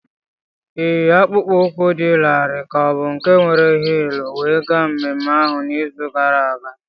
Ịyi akpụkpọ ụkwụ dị larịị ka ọ bụ nke were hịịlụ wee gaa mmemme ahụ n'izu gara aga?